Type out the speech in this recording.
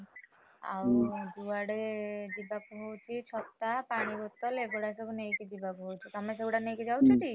ଆଉ ଯୁଆଡେ ଯିବାକୁ ହଉଛି ଛତା, ପାଣିବୋତଲ ଏଇଗୁଡା ସବୁ ନେଇକି ଯିବାକୁ ହଉଛି, ତମେ ସେଗୁଡା ନେଇକି ଯାଉଛ ଟି ?